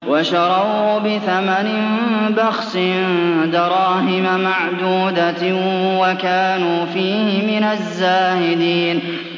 وَشَرَوْهُ بِثَمَنٍ بَخْسٍ دَرَاهِمَ مَعْدُودَةٍ وَكَانُوا فِيهِ مِنَ الزَّاهِدِينَ